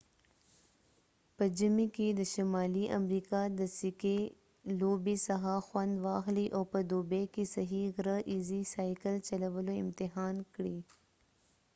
په ژمی کې د شمالی امریکا د سکې لوبې څخه خوند واخلۍ او په دوبی کې صحیح غره ایزی سایکل چلولو امتحان کړي